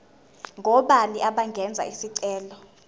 ngobani abangenza isicelo